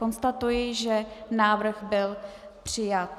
Konstatuji, že návrh byl přijat.